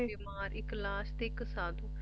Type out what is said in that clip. ਇੱਕ ਲਾਸ਼ ਤੇ ਇੱਕ ਸਾਧੂ